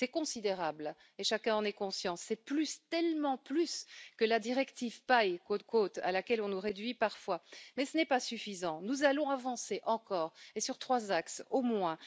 C'est considérable et chacun en est conscient. C'est plus, tellement plus, que la directive pailles à laquelle on nous réduit parfois. Mais ce n'est pas suffisant, nous allons avancer encore, et sur trois axes au moins.